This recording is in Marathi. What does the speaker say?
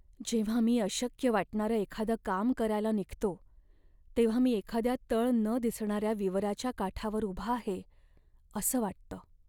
जेव्हा मी अशक्य वाटणारं एखादं काम करायला निघतो तेव्हा मी एखाद्या तळ न दिसणाऱ्या विवराच्या काठावर उभा आहे असं वाटतं.